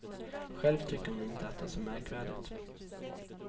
Själv tycker hon inte att det är så märkvärdigt.